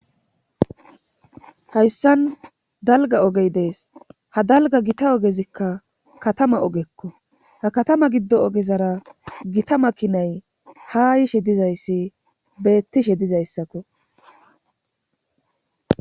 Hayssan dalga ogey dees ha dalga gita ogezikka katama ogekko ha katama giddo ogezara gita makinay haa yiishe dizayssi beettishe dizayssakko.